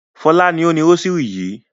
Fọlá ni ó ni rósírì yìí.